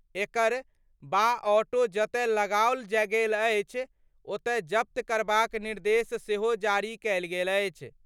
एकर बा ऑटो जतय लगाओल गेल अछि ओत जब्त करबाक निर्देश सेहो जारी कयल गेल अछि।